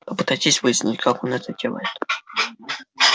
попытайтесь выяснить как он это делает